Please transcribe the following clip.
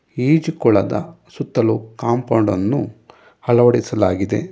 ಈಜು ಕೊಳದ ಸುತ್ತಲೂ ಕಾಂಪೌಂಡ್ ಅನ್ನು ಅಳವಡಿಸಲಾಗಿದೆ.